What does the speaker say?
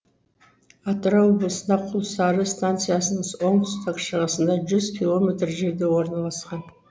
атырау облысында құлсары станциясының оңтүстік шығысында жүз километр жерде орналасқан